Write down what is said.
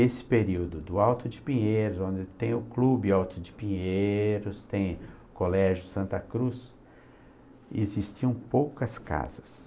Esse período do Alto de Pinheiros, onde tem o clube Alto de Pinheiros, tem o Colégio Santa Cruz, existiam poucas casas.